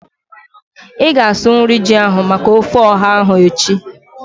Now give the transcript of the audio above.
Ịga asụ nri ji ahu maka ofe ọha ahu echi?